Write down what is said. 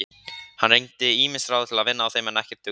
Hann reyndi ýmis ráð til að vinna á þeim en ekkert dugði.